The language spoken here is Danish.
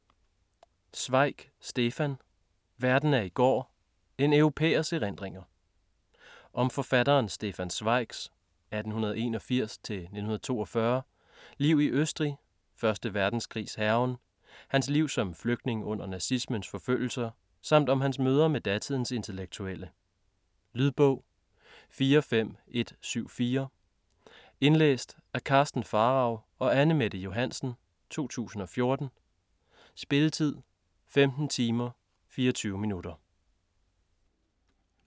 Zweig, Stefan: Verden af i går: en europæers erindringer Om forfatteren Stefan Zweigs (1881-1942) liv i Østrig, 1. verdenskrigs hærgen, hans liv som flygtning under nazismens forfølgelser samt om hans møder med datidens intellektuelle. Lydbog 45174 Indlæst af Karsten Pharao og Anne-Mette Johansen, 2014. Spilletid: 15 timer, 24 minutter.